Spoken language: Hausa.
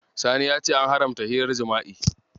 Sani ya ce an haramta hirar jima'i.